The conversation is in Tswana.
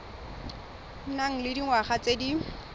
nang le dingwaga tse di